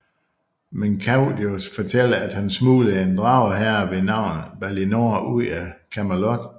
Men Gaius fortæller at han smuglede en drageherre ved navn Balinor ud af Camelot